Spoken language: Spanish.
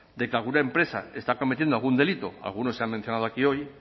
de que alguna empresa está cometiendo algún delito alguno se ha mencionado aquí hoy